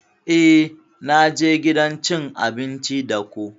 Eh na je gidan cin abinci da ko.